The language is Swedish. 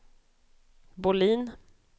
Bohlin